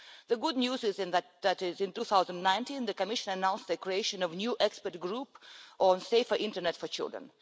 The good news is that, in 2019, the Commission announced the creation of a new Expert Group on Safer Internet for Children.